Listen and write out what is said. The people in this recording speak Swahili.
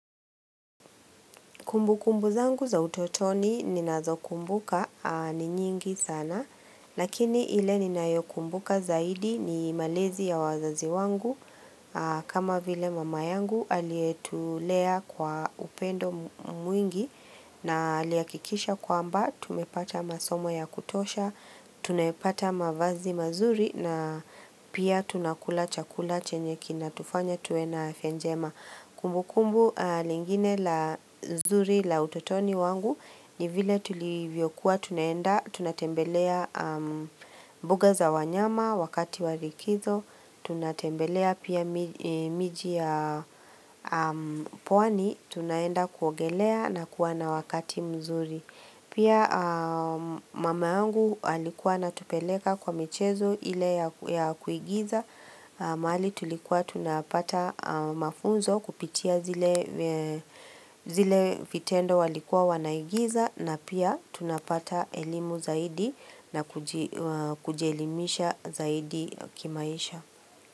Kumbu kumbu zangu za utotoni ninazokumbuka ni nyingi sana Lakini ile ninayo kumbuka zaidi, ni malezi ya wazazi wangu kama vile mama yangu, aliyetulea kwa upendo mwingi, na alihakikisha kwamba. Tumepata masomo ya kutosha, tumeyapata mavazi mazuri, na pia tunakula chakula chenye kinatufanya tuwe na afya njema. Kumbu kumbu lingine nzuri la utotoni wangu, ni vile tulivyo kuwa tunaenda, tunatembelea mbuga za wanyama wakati wa likizo, tunatembelea pia jiji la pwani, tunaenda kuogelea na kuwa na wakati mzuri. Pia mama yangu alikuwa anatupeleka kwa michezo ile ya kuigiza, mahali tulikuwa tunapata mafunzo kupitia zile zile vitendo walikuwa wanaigiza na pia tunapata elimu zaidi na kuji kujielimisha zaidi kimaisha.